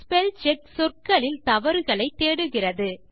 spellcheck சொற்களில் தவறுகளை தேடுகிறது